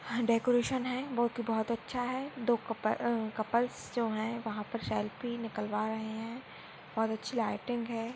अ decoration है बो कि बहुत अच्छा है दो कप कपल्स जो है वहा पर सेल्फी निकलवा रहे है बहुत अच्छी लायटिंग है।